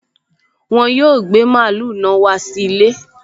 Wọn yóò gbé mààúlù náà wá sí ilé